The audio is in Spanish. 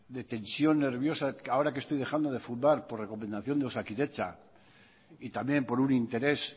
de tensión nerviosa ahora que estoy dejando de fumar por recomendación de osakidetza y también por un interés